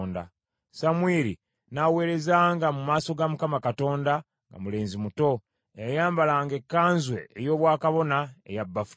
Samwiri n’aweerezanga mu maaso ga Mukama Katonda nga mulenzi muto, eyayambalanga ekkanzu ey’obwakabona eya bafuta.